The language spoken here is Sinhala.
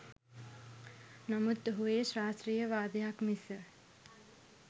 නමුත් ඔහු එය ශාස්ත්‍රීය වාදයක් මිස